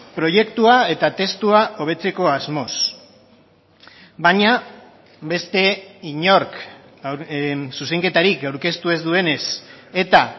proiektua eta testua hobetzeko asmoz baina beste inork zuzenketarik aurkeztu ez duenez eta